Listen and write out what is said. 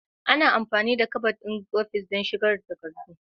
Ana amfani da kabad ɗin ofis don shigar da takardu.